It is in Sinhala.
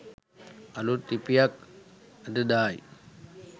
අලුත් ලිපියක් අද දායි